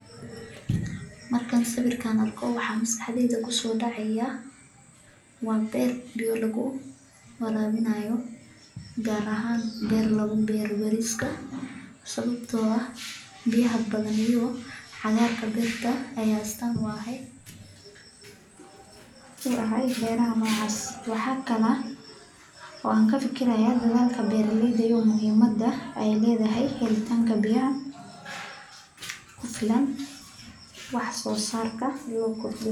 markaan sawir kaan arko waxa maskaxdeyda kuso dhacaya, waa beer biyo lagu waraabinayo gaar ahan beer lagu beero bariiska, sababto ah biyaha badan iyo cagaarka beerta ayaa astaan u ah beeraha nuucas waxa kala oo aan kafikiraya dadaalka beeraleyda iyo muuhimada ee leedahay helitaanka biyaha kufilan wax soo saarka.